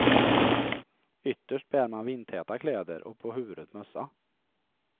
Ytterst bär man vindtäta kläder och på huvudet mössa.